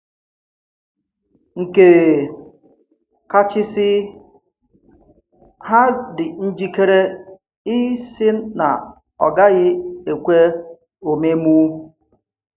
Nkè kàchìsì, hà dì njíkèrè ị̀sì nà ọ̀ gàghì̀ ekwè òmèmu.